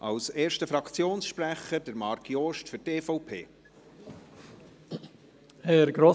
Als erster Fraktionssprecher, Marc Jost, für die EVP.